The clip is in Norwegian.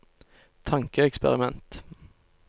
tankeeksperiment